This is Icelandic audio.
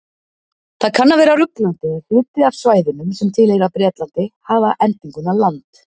Það kann að vera ruglandi að hluti af svæðunum sem tilheyra Bretlandi hafa endinguna land.